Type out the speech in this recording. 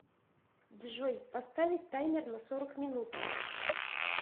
джой поставить таймер на сорок минут